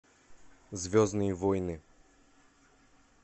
звездные войны